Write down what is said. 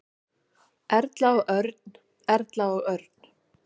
Erla og Örn. Erla og Örn.